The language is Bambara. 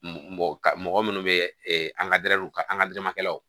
Mɔgɔ ka mɔgɔ minnu bɛ an ka ka an ka jamakɛlaw